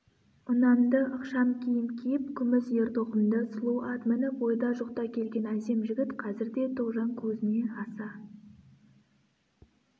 ұнамды ықшам киім киіп күміс ер-тоқымды сұлу ат мініп ойда жоқта келген әсем жігіт қазірде тоғжан көзіне аса